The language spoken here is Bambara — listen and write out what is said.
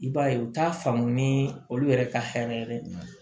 I b'a ye u t'a faamu ni olu yɛrɛ ka hɛrɛ de don